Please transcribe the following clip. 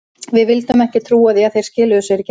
Við vildum ekki trúa því að þeir skiluðu sér ekki heim.